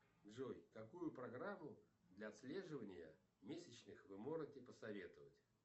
джой какую программу для отслеживания месячных вы можете посоветовать